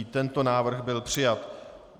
I tento návrh byl přijat.